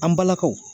An balakaw